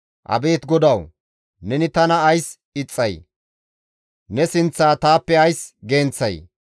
Abeet GODAWU! Neni tana ays ixxay? Ne sinththaa taappe ays genththay?